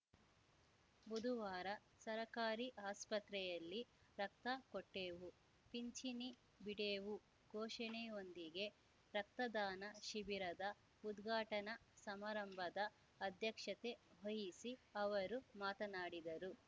ಬುದುವಾರ ಸರಕಾರಿ ಆಸ್ಪತ್ರೆಯಲ್ಲಿ ರಕ್ತ ಕೊಟ್ಟೇವು ಪಿಂಚಿಣಿ ಬಿಡೆವು ಘೋಷಣೆಯೊಂದಿಗೆ ರಕ್ತದಾನ ಶಿಬಿರದ ಉದ್ಘಾಟನಾ ಸಮಾರಂಭದ ಅಧ್ಯಕ್ಷತೆ ವಹಿಸಿ ಅವರು ಮಾತನಾಡಿದರು